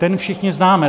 Ten všichni známe.